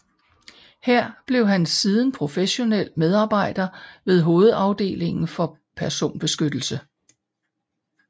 Her blev han siden professionel medarbejder ved hovedafdelingen for personbeskyttelse